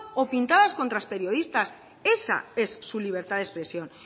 o pintadas contra los periodistas esa es su libertad de expresión